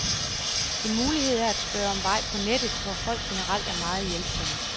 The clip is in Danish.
En mulighed er at spørge om vej på nettet, hvor folk generelt er meget hjælpsomme.